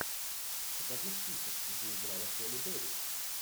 покажи список где играла холли берри